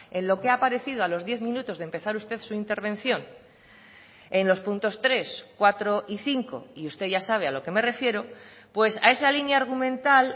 en lo que ha aparecido a los diez minutos de empezar usted su intervención en los puntos tres cuatro y cinco y usted ya sabe a lo que me refiero pues a esa línea argumental